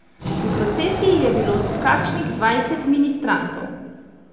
V procesiji je Bilo kakšnih dvajset ministrantov.